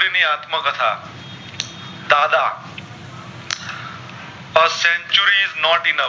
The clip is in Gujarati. Not enough